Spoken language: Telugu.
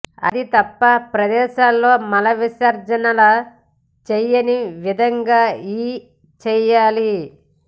అది తప్పు ప్రదేశాల్లో మల విసర్జనల చేయని విధంగా ఈ చేయాలి